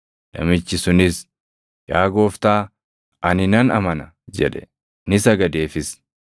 Namichi sunis, “Yaa Gooftaa, ani nan amana” jedhe; ni sagadeefis.